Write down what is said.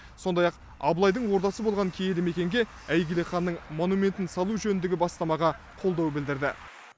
сондай ақ абылайдың ордасы болған киелі мекенге әйгілі ханның монументін салу жөніндегі бастамаға қолдау білдірді